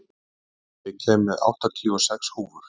Árnína, ég kom með áttatíu og sex húfur!